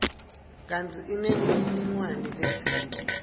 kantsi inemininingwane letsite